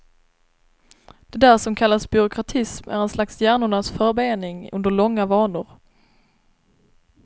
Det där som kallas byråkratism är en slags hjärnornas förbening under långa vanor.